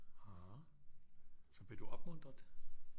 Så blev du opmuntret